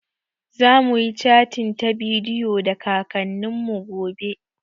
Zamuyi catin ta bidiyo da kakannin mu gobe